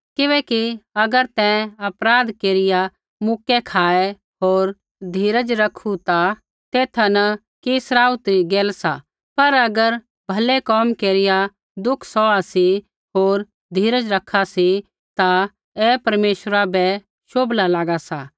किबैकि अगर तैं अपराध केरिया मुक्कै खाऐ होर धीरज रखू ता तेथा न कि सराउथी री गैल सा पर अगर भलै कोम केरिया दुख सौहा सी होर धीरज रखा सी ता ऐ परमेश्वरा बै शोभला लागा सा